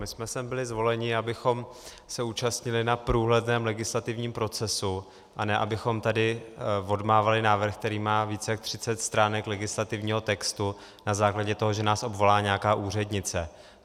My jsme sem byli zvoleni, abychom se účastnili na průhledném legislativním procesu, a ne abychom tady odmávali návrh, který má víc jak 30 stránek legislativního textu, na základě toho, že nás obvolá nějaká úřednice.